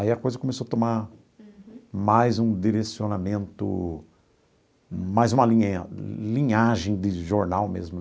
Aí a coisa começou a tomar mais um direcionamento, mais uma linha linhagem de jornal mesmo.